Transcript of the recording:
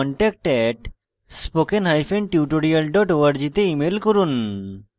বিস্তারিত তথ্যের জন্য contact @spokentutorial org তে ইমেল করুন